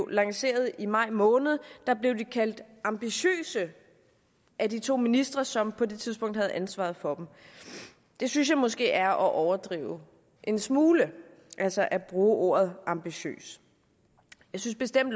lanceret i maj måned blev de kaldt ambitiøse af de to ministre som på det tidspunkt havde ansvaret for dem det synes jeg måske er at overdrive en smule altså at bruge ordet ambitiøs jeg synes bestemt